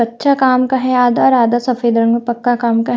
अच्छा काम का है आधा और आधा सफेद रंग में पक्का काम का है।